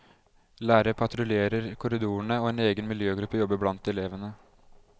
Lærere patruljerer korridorene, og en egen miljøgruppe jobber blant elevene.